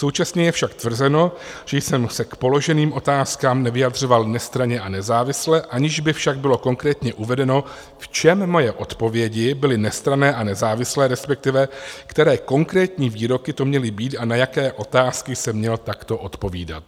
Současně je však tvrzeno, že jsem se k položeným otázkám nevyjadřoval nestranně a nezávisle, aniž by však bylo konkrétně uvedeno, v čem moje odpovědi byly nestranné a nezávislé, respektive které konkrétní výroky to měly být a na jaké otázky jsem měl takto odpovídat.